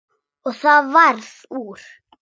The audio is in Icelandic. Og það varð úr.